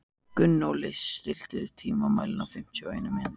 Gunnóli, stilltu tímamælinn á fimmtíu og eina mínútur.